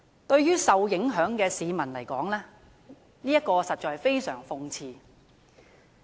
對於受影響的市民而言，實在相當諷刺。